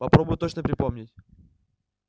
попробуй точно припомнить